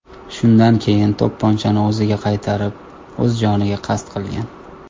Shundan keyin to‘pponchani o‘ziga qaratib, o‘z joniga qasd qilgan.